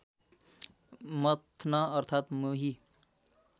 मथ्न अर्थात् मोही